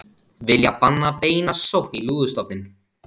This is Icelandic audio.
Vilja banna beina sókn í lúðustofninn